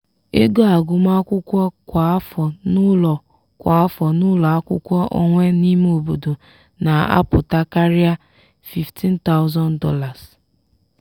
ego agụmakwụkwọ kwa afọ n'ụlọ kwa afọ n'ụlọ akwụkwọ onwe n'ime obodo na-apụta karịa $15000.